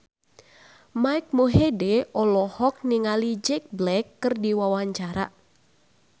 Mike Mohede olohok ningali Jack Black keur diwawancara